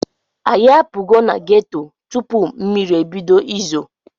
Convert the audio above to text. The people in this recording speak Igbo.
Anyị apugo na geto tupu mmiri ebido izo.